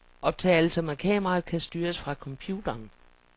Optagelser med kameraet kan styres fra computeren.